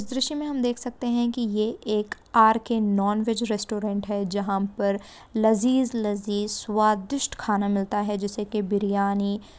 इस दृश्य मैं हम देख सकते है की ये एक आर के नॉनवेज रेस्टोरंट है जहाँ पर लज़ीज़ लज़ीज़ स्वादिष्ट खाना मिलता हैं। जैसे के बिरियानी--